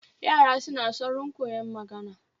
Yara suna saurin koyon magana